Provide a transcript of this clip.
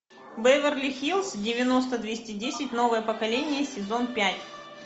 беверли хиллз девяносто двести десять новое поколение сезон пять